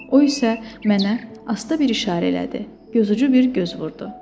O isə mənə asta bir işarə elədi, gözucu bir göz vurdu.